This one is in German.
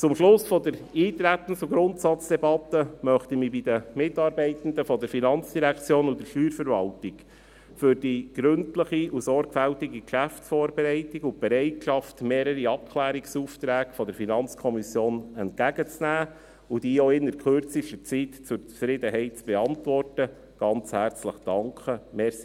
Zum Schluss der Eintretens- und Grundsatzdebatte möchte ich mich bei den Mitarbeitenden der FIN und der Steuerverwaltung für die gründliche und sorgfältige Geschäftsvorbereitung und die Bereitschaft, mehrere Abklärungsaufträge der FiKo entgegenzunehmen und auch innert kürzester Zeit zur Zufriedenheit zu beantworten, ganz herzlich bedanken.